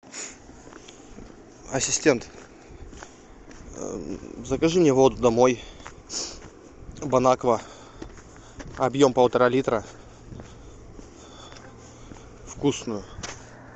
ассистент закажи мне воду домой бон аква объем полтора литра вкусную